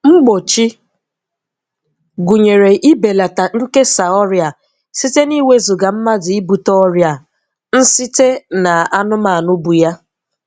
Mgbochi gụnyere ibelata nkesa ọrịa a site n'iwezuga mmadụ ibute ọrịa a \nsite n'anụmanụ bu ya.